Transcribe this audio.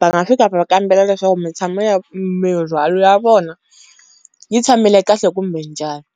va nga fika va kambela leswaku mitshamo ya mindzwalo ya vona yi tshamile kahle kumbe njhani